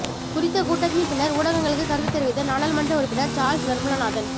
குறித்த கூட்டத்தின் பின்னர் ஊடகங்களுக்கு கருத்து தெரிவித்த நாடாளுமன்ற உறுப்பினர் சாள்ஸ் நிர்மல நாதன்